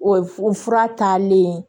O f o fura taalen